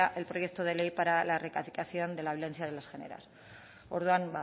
el proyecto de ley para la erradicación de la violencia de los géneros orduan